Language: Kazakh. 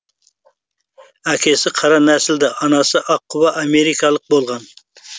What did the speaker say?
әкесі қара нәсілді анасы аққұба америкалық болған